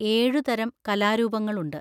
എഴുതരം കലാരൂപങ്ങളുണ്ട്.